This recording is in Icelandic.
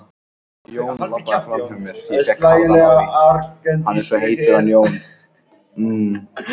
Þegar rítalín er misnotað getur það verið vanabindandi.